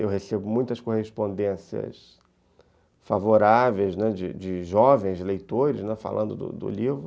Eu recebo muitas correspondências favoráveis, né, de de jovens leitores falando do livro.